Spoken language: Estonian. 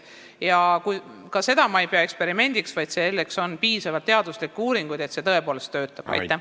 Ja ka seda ei pea ma eksperimendiks, sest on piisavalt teaduslikke uuringuid selle kohta, et selline lähenemine tõepoolest töötab.